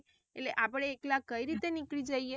એટલે આપડે એકલા કઈ રીતે નીકળી જઇયે.